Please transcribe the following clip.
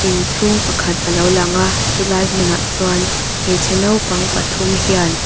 inchhung pakhat alo lang a chulai hmunah chuan hmeichhe naupang pathum hian.